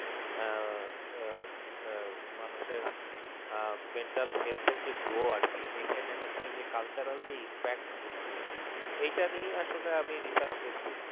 আহ মানুষের mental health এর যে grow আর কি এইখানে যে cultural যে impact গুলা এটা নিয়ে আমি research করছি